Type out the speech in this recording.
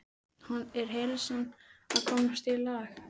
Er heilsan að komast í lag?